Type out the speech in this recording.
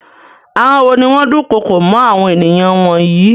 Àwọn wo ni wọ́n dukoko mọ́ àwọn ènìyàn wọ̀nyí?